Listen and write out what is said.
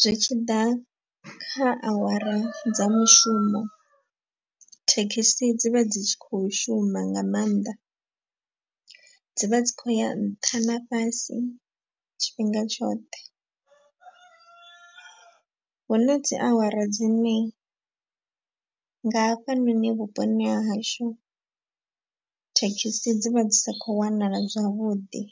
Zwi tshiḓa kha awara dza mushumo thekhisi dzi vha dzi tshi khou shuma nga maanḓa. Dzi vha dzi khou ya nṱha na fhasi tshifhinga tshoṱhe. Hu na dzi awara dzine nga hafha noni vhuponi ha hashu thekhisi dzi vha dzi sa khou wanala zwavhuḓi.